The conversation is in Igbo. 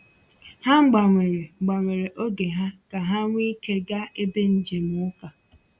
Ha gbanwere gbanwere oge ha ka ha nwee ike gaa ebe njem uka.